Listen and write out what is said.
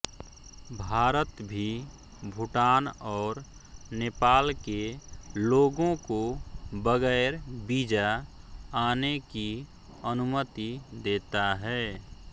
भारत भी भूटान और नेपाल के लोगों को बगैर वीजा आने की अनुमति देता है